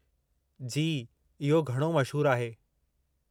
जी, इहो घणो मशहूरु आहे।